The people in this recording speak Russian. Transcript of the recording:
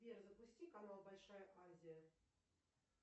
сбер запусти канал большая азия